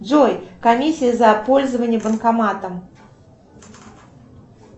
джой комиссия за пользование банкоматом